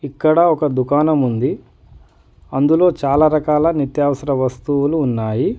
ఇక్కడ ఒక దుకాణం ఉంది అందులో చాలా రకాల నిత్యవసర వస్తువులు ఉన్నాయి.